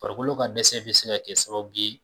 Farikolo ka dɛsɛ bɛ se ka kɛ sababu ye